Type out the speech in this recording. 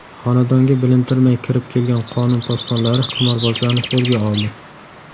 Xonadonga bilintirmay kirib kelgan qonun posbonlari qimorbozlarni qo‘lga oldi.